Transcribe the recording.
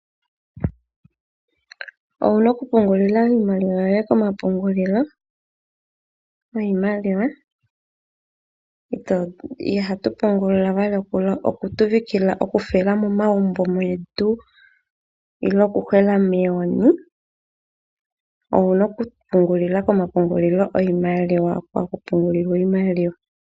Owuna oku pungulila iimaliwa yoye komapungulilo giimaliwa, ohatu pungula we okusiikilila momagumbo getu, owu na okupungulila komapungulilo giimaliwa hono haku pungulwa iimaliwa.